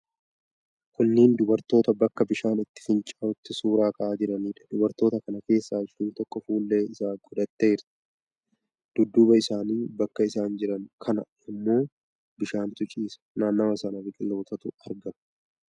Kunneen dubartoota bakka bishaan itti fincaa'utti suura ka'aa jiraniidha. Dubartoota kana keessaa isheen tokko fuullee ijaa godhattee jirti. Dudduuba isaanii bakka isaan jiran kana ammoo bishaantu ciiisa. Naannawa sana biqilootatu argama.